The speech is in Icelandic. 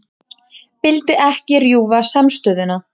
Vildi ekki rjúfa samstöðuna